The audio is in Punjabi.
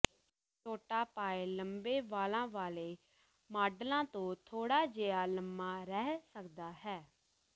ਛੋਟਾ ਪਾਇਲ ਲੰਬੇ ਵਾਲਾਂ ਵਾਲੇ ਮਾਡਲਾਂ ਤੋਂ ਥੋੜਾ ਜਿਹਾ ਲੰਮਾ ਰਹਿ ਸਕਦਾ ਹੈ